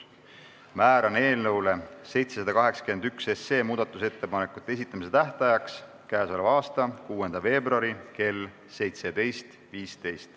Määran eelnõu 781 muudatusettepanekute esitamise tähtajaks k.a 6. veebruari kell 17.15.